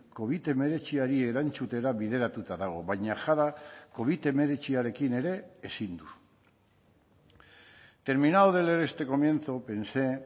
covid hemeretziari erantzutera bideratuta dago baina jada covid hemeretziarekin ere ezin du terminado de leer este comienzo pensé